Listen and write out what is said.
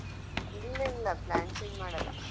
ಇಲ್ಲಾ ಇಲ್ಲಾ plan change ಮಾಡಲ್ಲಾ.